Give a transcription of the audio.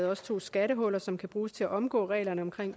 også to skattehuller som kan bruges til at omgå reglerne om